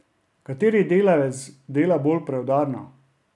Kateri delavec dela bolj preudarno?